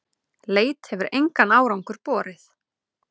Leit hefur engan árangur borið.